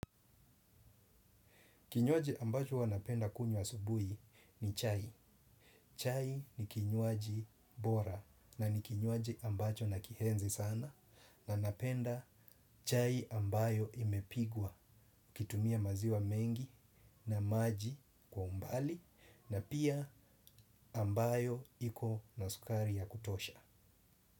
Kinywaji ambacho huwa napenda kunywa asubuhi ni chai. Chai ni kinywaji bora na ni kinywaji ambacho nakienzi sana na napenda chai ambayo imepikwa kutumia maziwa mengi na maji kwa umbali na pia ambayo iko na sukari ya kutosha.